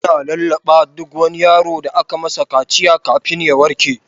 Ana lallaɓa duk wani yaro da aka masa kaciya har ya warke.